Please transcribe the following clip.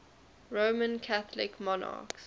roman catholic monarchs